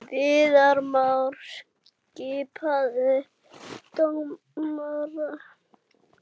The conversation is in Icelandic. Viðar Már skipaður dómari